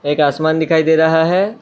एक आसमान दिखाई दे रहा है।